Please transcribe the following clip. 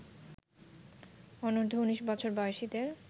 অনূর্ধ্ব ১৯ বছর বয়সীদের